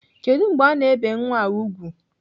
Kedụ mgbe ana ebe nwa a ùgwù?